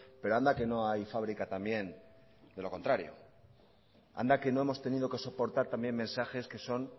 pero anda que no hay fábrica también de lo contrario anda que no hemos tenido que soportar también mensajes que son